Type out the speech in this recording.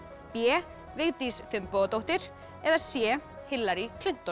b Vigdís Finnbogadóttir eða c Hillary